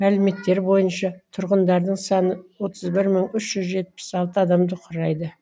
мәліметтер бойынша тұрғындардың саны отыз бір мың үш жүз жетпіс алты адамды құрайды